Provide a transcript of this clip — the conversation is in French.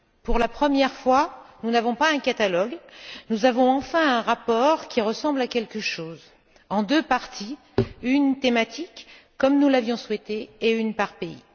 Pour la première fois, nous n'avons pas un catalogue, nous avons enfin un rapport qui ressemble à quelque chose, en deux parties une thématique, comme nous l'avions souhaité, et une par pays.